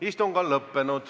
Istung on lõppenud.